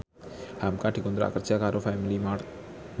hamka dikontrak kerja karo Family Mart